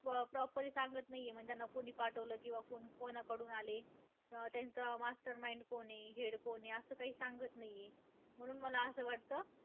अं proper सांगत नाहीये. म्हणजे त्यांना कोणी पाठवलं किंवा कोण~ कोणाकडून आले. अं त्यांचा master mind कोण आहे, head कोण आहे. असं काही सांगत नाहीये. म्हणून मला असं वाटतं,